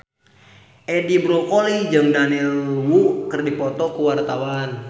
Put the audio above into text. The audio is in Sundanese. Edi Brokoli jeung Daniel Wu keur dipoto ku wartawan